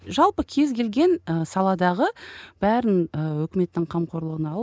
жалпы кез келген і саладағы бәрін і өкіметтің қамқорлығына алып